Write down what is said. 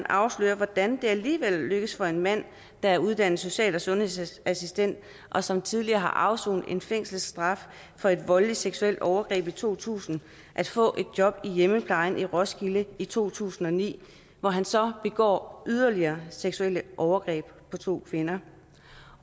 afsløres hvordan det alligevel lykkes for en mand der er uddannet social og sundhedsassistent og som tidligere har afsonet en fængselsstraf for et voldeligt seksuelt overgreb i to tusind at få et job i hjemmeplejen i roskilde i to tusind og ni hvor han så begår yderligere seksuelle overgreb på to kvinder